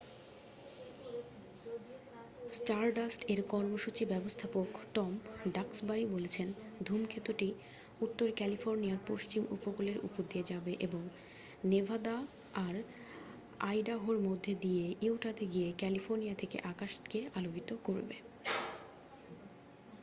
স্টারডাস্ট-এর কর্মসূচি ব্যবস্থাপক Tom Duxbury বলেছেন ধূমকেতুটি উত্তর ক্যালিফোর্নিয়ার পশ্চিম উপকূলের উপর দিয়ে যাবে এবং নেভাদা আর আইডাহোর মধ্য দিয়ে ইউটাতে গিয়ে ক্যালিফোর্নিয়া থেকে আকাশকে আলোকিত করবে